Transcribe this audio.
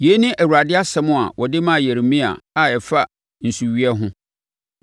Yei ne Awurade asɛm a ɔde maa Yeremia a ɛfa nsuweɛ ho: